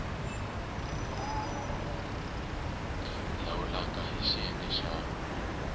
lawula rk hl xiyenge xa